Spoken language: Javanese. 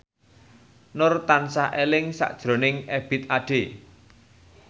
Nur tansah eling sakjroning Ebith Ade